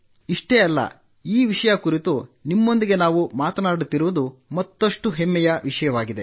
ಇಷ್ಟೇ ಅಲ್ಲ ಈ ವಿಷಯದ ಕುರಿತು ನಿಮ್ಮೊಂದಿಗೆ ನಾವು ಮಾತನಾಡುತ್ತಿರುವುದು ಮತ್ತಷ್ಟು ಹೆಮ್ಮೆಯ ವಿಷಯವಾಗಿದೆ